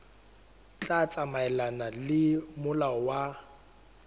tla tsamaelana le molao wa